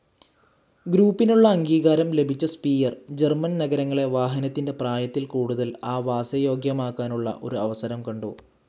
ഗ്രൂപ്പിനുള്ള അംഗീകാരം ലഭിച്ച Speyer, German നഗരങ്ങളെ വാഹനത്തിന്റെ പ്രായത്തിൽ കൂടുതൽ ആവാസയോഗ്യമാക്കാനുള്ള ഒരു അവസരം കണ്ടു.